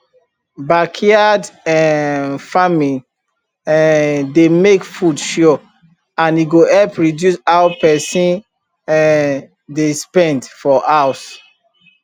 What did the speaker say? backyard um farming um dey make food sure and e go help reduce how person um dey spend for house